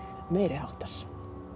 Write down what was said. meiriháttar